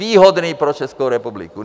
Výhodný pro Českou republiku.